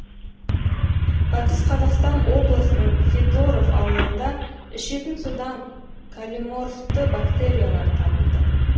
батыс қазақстан облысының федоров ауылында ішетін судан колиморфты бактериялар табылды